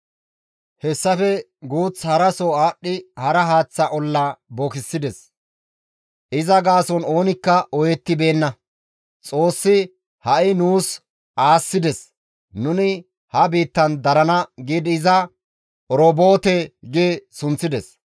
Hessafe guuth haraso aadhdhi hara haaththa olla bookissides; iza gaason oonikka ooyettibeenna; «Xoossi ha7i nuus aassides; nuni ha biittan darana» giidi iza, «Oroboote» gi sunththides.